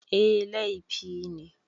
Eh, laifi ne